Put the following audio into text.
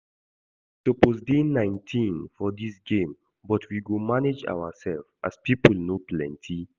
We suppose dey nineteen for dís game but we go manage ourselves as people no plenty